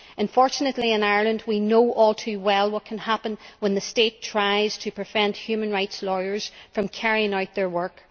Unfortunately, in Ireland we know all too well what can happen when the state tries to prevent human rights lawyers from carrying out their work.